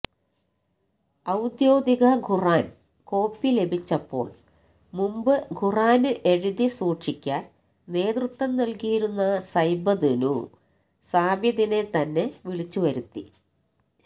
ഔദ്യോഗിക ഖുര്ആന് കോപ്പി ലഭിച്ചപ്പോള് മുമ്പ് ഖുര്ആന് എഴുതി സൂക്ഷിക്കാന് നേതൃത്വം നല്കിയിരുന്ന സൈദ്ബ്നു സാബിതിനെ തന്നെ വിളിച്ച് വരുത്തി